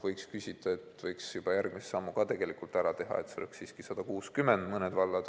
Võiks küsida, et kas ei võiks juba järgmise sammu ka ära teha, et see oleks 160 km/h.